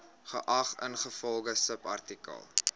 geag ingevolge subartikel